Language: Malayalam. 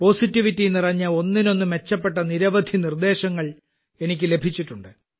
പോസിറ്റിവിറ്റി നിറഞ്ഞ ഒന്നിനൊന്ന് മെച്ചപ്പെട്ട നിരവധി നിർദ്ദേശങ്ങൾ എനിക്ക് ലഭിച്ചിട്ടുണ്ട്